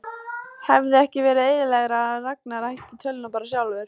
Hefði ekki verið eðlilegra að Ragnar ætti tölvuna bara sjálfur?